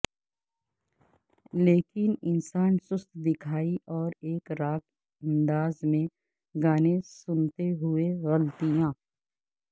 لیکن انسان سست دکھائی اور ایک راک انداز میں گانے سنتے ہوئے غلطیاں